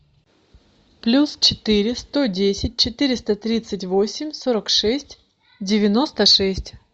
плюс четыре сто десять четыреста тридцать восемь сорок шесть девяносто шесть